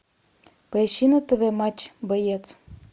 поищи на тв матч боец